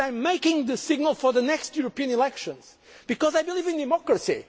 democracy. And I am giving the signal for the next European elections because I believe in